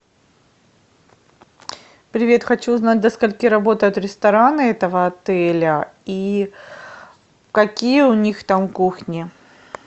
привет хочу узнать до скольки работают рестораны этого отеля и какие у них там кухни